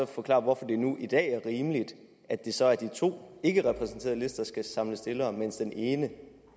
forklare hvorfor det nu i dag er rimeligt at det så er de to ikkerepræsenterede lister der skal samle stillere mens den ene